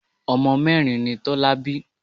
Ọmọ mẹ́rin ni Tọ́lá bí.